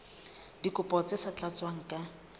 dikopo tse sa tlatswang ka